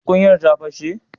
tukuyar ta pashe?